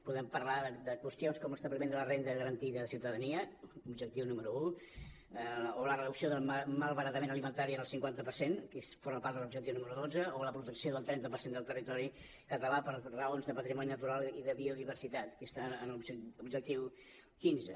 podem parlar de qüestions com l’establiment de la renda garantida de ciutadania objectiu número un o la reducció del malbaratament alimentari en el cinquanta per cent que forma part de l’objectiu número dotze o la protecció del trenta per cent del territori català per raons de patrimoni natural i de biodiversitat que està en l’objectiu quinze